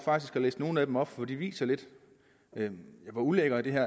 at læse nogle af dem op for de viser lidt hvor ulækkert det her